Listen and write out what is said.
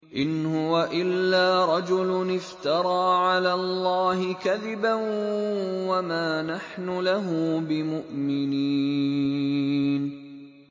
إِنْ هُوَ إِلَّا رَجُلٌ افْتَرَىٰ عَلَى اللَّهِ كَذِبًا وَمَا نَحْنُ لَهُ بِمُؤْمِنِينَ